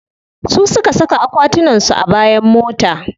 Su suka saka akwatunan su a bayan mota.